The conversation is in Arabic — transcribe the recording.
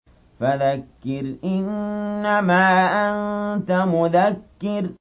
فَذَكِّرْ إِنَّمَا أَنتَ مُذَكِّرٌ